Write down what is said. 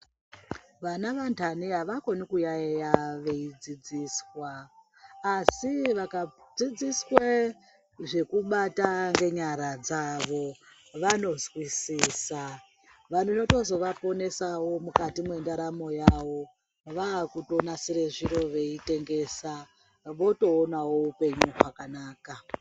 Vana vantane havakoni kuyayiya veidzidziswa, asi vakadzidziswe zvekubata ngenyara dzavo vanozwisisa. Maringe zvinozovaponesawo mukati mwentaramo yavo vaakutonasire zviro veitengesa votoonawo upenyu hwakanaka.